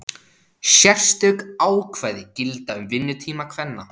Sérstök ákvæði gilda um vinnutíma kvenna.